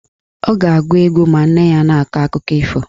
Ọ ga-agụ egwu ma nne ya na-akọ akụkọ ifo.